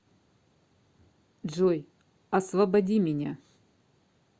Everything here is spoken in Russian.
джой освободи меня